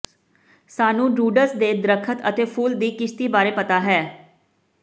ਸਾਨੂੰ ਡਰੂਡਜ਼ ਦੇ ਦਰੱਖਤ ਅਤੇ ਫੁੱਲ ਦੀ ਕਿਸ਼ਤੀ ਬਾਰੇ ਪਤਾ ਹੈ